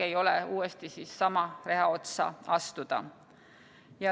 Ei ole tark uuesti sama reha otsa astuda.